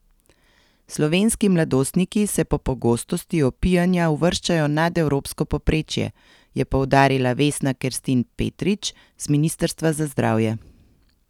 Slovenski mladostniki se po pogostosti opijanja uvrščajo nad evropsko povprečje, je poudarila Vesna Kerstin Petrič z ministrstva za zdravje.